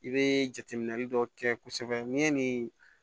I bɛ jateminɛli dɔ kɛ kosɛbɛ n'i ye nin